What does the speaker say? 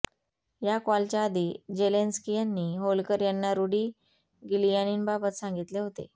या कॉलच्या आधी जेलेन्स्की यांनी व्होल्कर यांना रूडी गिलियानींबाबत सांगितले होते